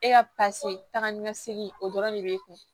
E ka taga ni ka segin o dɔrɔn de b'e kun